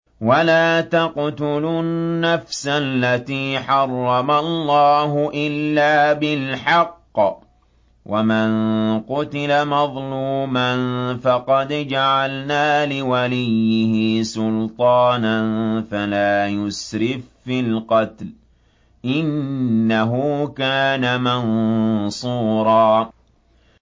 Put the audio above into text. وَلَا تَقْتُلُوا النَّفْسَ الَّتِي حَرَّمَ اللَّهُ إِلَّا بِالْحَقِّ ۗ وَمَن قُتِلَ مَظْلُومًا فَقَدْ جَعَلْنَا لِوَلِيِّهِ سُلْطَانًا فَلَا يُسْرِف فِّي الْقَتْلِ ۖ إِنَّهُ كَانَ مَنصُورًا